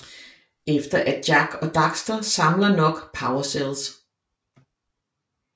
Efter at Jak og Daxter samler nok Power Cells